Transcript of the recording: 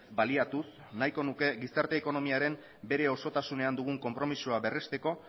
baliatuz nahiko nuke gizarte ekonomiaren bere osotasunean dugun konpromezua berrezteko